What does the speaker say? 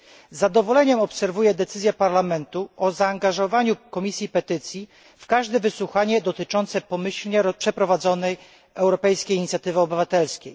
Z zadowoleniem obserwuję decyzję Parlamentu o zaangażowaniu Komisji Petycji w każde wysłuchanie dotyczące pomyślnie przeprowadzonej europejskiej inicjatywy obywatelskiej.